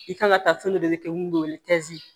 I kan ka taa fɛn dɔ de kɛ mun be wele kɛzi